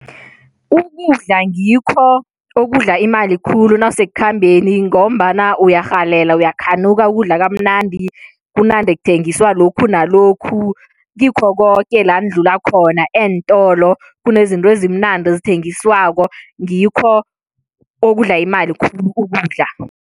Ukudla ngikho okudla imali khulu nawusekukhambeni ngombana uyarhalela, uyakhanuka ukudla kamnandi, kunande kuthengiswa lokhu nalokhu kikho koke la nidlula khona. Eentolo kunezinto ezimnandi ethengiswako ngikho okudla imali khulu, ukudla.